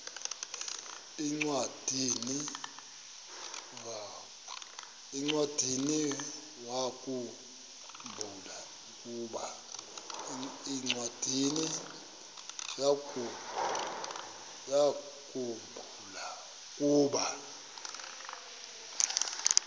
encwadiniwakhu mbula ukuba